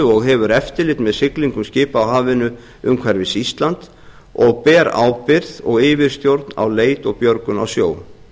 og hefur eftirlit með siglingu skipa á hafinu umhverfis ísland og ber ábyrgð og yfirstjórn á leit og björgun á sjó